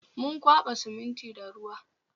Mun kwaba siminti da ruwa